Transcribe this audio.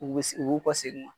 U b'u kɔ segin